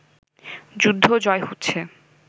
যুদ্ধ জয় হচ্ছে